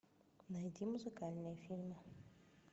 найди музыкальные фильмы